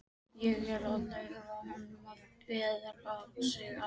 Ég er að leyfa honum að viðra sig aðeins.